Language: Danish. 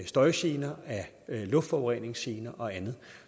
støjgener af luftforureningsgener og andet